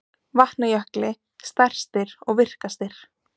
Vatnajökli stærstir og virkastir.